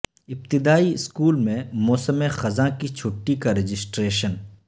ابتدائی اسکول میں موسم خزاں کی چھٹی کا رجسٹریشن